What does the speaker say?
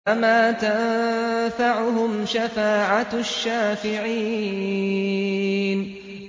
فَمَا تَنفَعُهُمْ شَفَاعَةُ الشَّافِعِينَ